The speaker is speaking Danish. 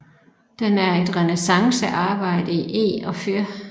Den er et renæssancearbejde i eg og fyr